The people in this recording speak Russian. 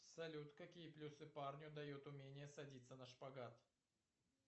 салют какие плюсы парню дает умение садиться на шпагат